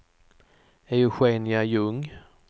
Eugenia Ljung